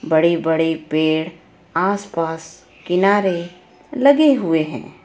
बड़े बड़े पेड़ आसपास किनारे लगे हुए हैं.